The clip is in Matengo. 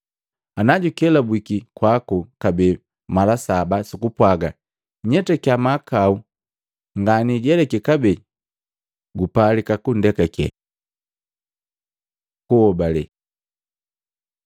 Ana jukosi mala saba ku lisoba limu, najukelabwiki kwaku kabee mala saba sukupwaga, ‘Nyetaki mahakau nganijeleki kabee,’ Gupalika gundekakiya.” Kuobale